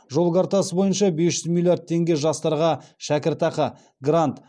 жол картасы бойынша бес жүз миллиард теңге жастарға шәкіртақы грант